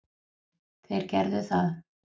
Þeir gerðu það.